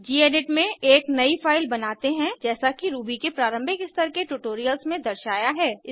gedit में एक नयी फाइल बनाते हैं जैसा कि रूबी के प्रारंभिक स्तर के ट्यूटोरियल्स में दर्शाया है